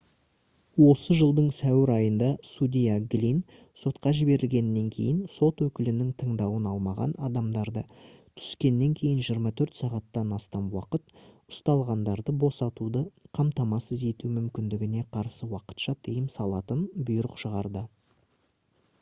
осы жылдың сәуір айында судья глинн сотқа жіберілгеннен кейін сот өкілінің тыңдауын алмаған адамдарды түскеннен кейін 24 сағаттан астам уақыт ұсталғандарды босатуды қамтамасыз ету мүмкіндігіне қарсы уақытша тыйым салатын бұйрық шығарды